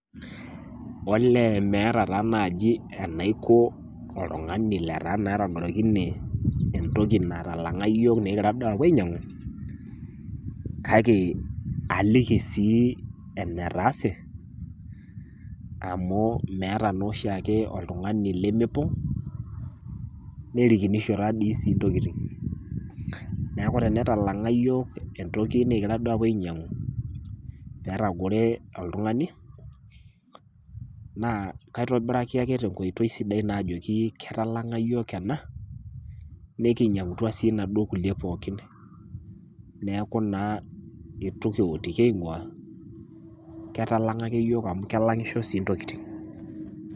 Olee meeta taa naji enaiko oltung'ani letaa naa etagorokine entoki natalang'a yiook nigira duo apuo ainyang'u kake aliki sii enetaase amuu meeta nooshiake oltung'ani lemepong' nerikinisho taadii sii ntokitin. Neaku tenetalang'a yiok entoki nikigira duo apuo ainyang'u netagore oltung'ani, naa kaitobiraki ake tenkoitoi sidai naa ajoki ketalang'a yiook ena nikinyang'atua sii naduo kulie pookin. Neaku naa eitu kiwotuki aing'uaa ketalang'a ake yiook amu kelang'isho sii ntokitin.